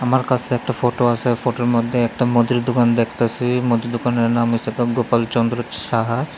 আমার কাসে একটা ফোটো আসে ফোটোর মধ্যে একটা মুদির দোকান দেখতাসি মুদির দোকানের নাম হোইসে গোপালচন্দ্র সাহা।